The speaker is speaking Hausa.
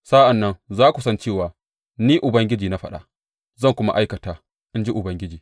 Sa’an nan za ku san cewa Ni Ubangiji na faɗa, zan kuma aikata, in ji Ubangiji.’